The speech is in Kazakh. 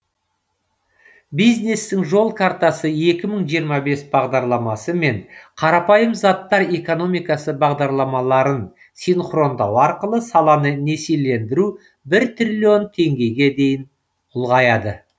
бизнестің жол картасы екі мың жиырма бес бағдарламасы мен қарапайым заттар экономикасы бағдарламаларын синхрондау арқылы саланы несиелендіру бір триллион теңгеге дейін ұлғаяды